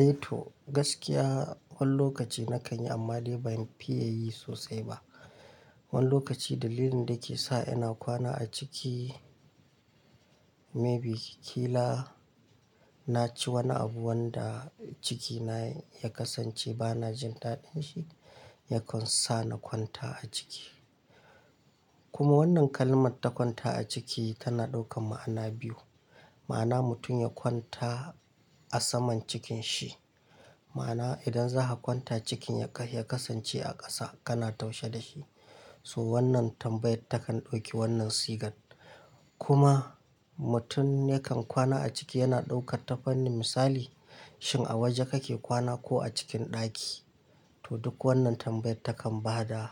Eh to gaskiya wan lokaci na kanyi amma dai bani fiye yi sosai ba. Wani lokaci dalilin da ke sa ina kwana a ciki maybe kila na ci wani abu wanda cikina ya kasance ba na jin daɗin shi ya kansana kwanta a ciki. Kuma wannan kalman ta kwanta a ciki tana ɗaukan ma'ana biyu. Ma'ana mutun ya kwanta a saman cikin shi, ma'ana idan zaha kwanta cikin yakah ya kasance a ƙasa kana taushe da shi. To wannan tambayan takan ɗauki wannan sigan. Kuma mutun yakan kwana a ciki yana ɗauka tafani misali shin a waje kake kwana ko a cikin ɗaki. To duk wannan tambayar takan bada